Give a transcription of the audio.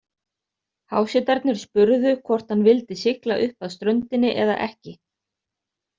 Hásetarnir spurðu hvort hann vildi sigla upp að ströndinni eða ekki.